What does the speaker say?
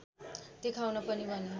देखाउन पनि भने